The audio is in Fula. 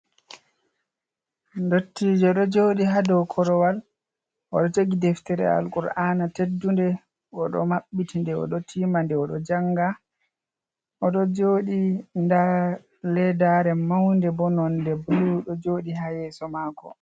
Ndottijo ɗo joɗi ha dou korowal, oɗo jogi deftere al kur'aana teddunde o ɗo maɓɓiti nde o ɗo tima nde oɗo janga, oɗo joɗi ndar ledare maunde bo nonde blu ɗo joɗi ha yeso mako.